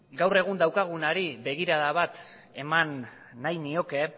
gaur egun daukagunari begirada bat eman nahi nioke